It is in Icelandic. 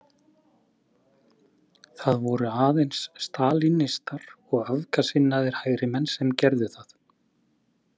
Það voru aðeins stalínistar og öfgasinnaðir hægrimenn sem gerðu það.